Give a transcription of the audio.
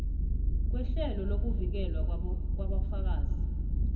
kwehlelo lokuvikelwa kwabofakazi